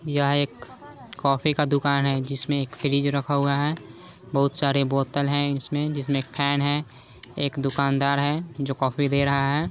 यह एक कॉफी का दुकान है जिसमें एक फ्रिज रखा हुआ है बहुत सारे बोतल हैं इसमें जिसमें फैन हैं एक दुकानदार है जो कॉफी दे रहा है।